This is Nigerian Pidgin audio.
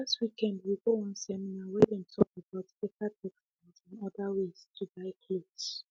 last weekend we go one seminar where them talk about better textiles and other ways to dye clothes